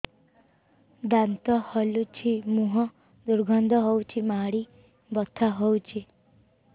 ଦାନ୍ତ ହଲୁଛି ମୁହଁ ଦୁର୍ଗନ୍ଧ ହଉଚି ମାଢି ବଥା ହଉଚି